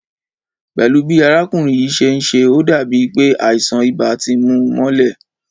Pẹ́lú bi arákùnrin yìí ṣe ń ṣe, ó dàbí pé àìsàn ibà ti mú u mọ́lẹ̀